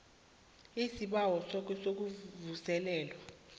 isibawo sakho sokuvuselelwa